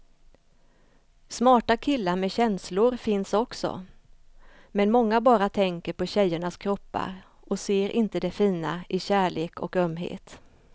Smarta killar med känslor finns också, men många bara tänker på tjejernas kroppar och ser inte det fina i kärlek och ömhet.